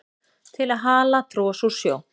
til að hala tros úr sjó